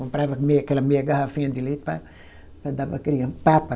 Comprava meia aquela meia garrafinha de leite para para dar para a criança. Papa